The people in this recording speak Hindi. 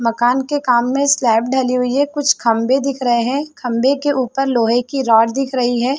मकान के काम में स्लैप ढली हुई है कुछ खंभे दिख रहे है खंभे के उपर लोहे की रॉड दिख रही है।